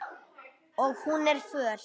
Og hún er föl.